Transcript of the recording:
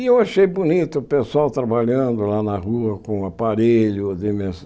E eu achei bonito o pessoal trabalhando lá na rua com o aparelho, a